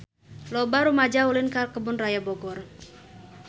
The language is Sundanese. Loba rumaja ulin ka Kebun Raya Bogor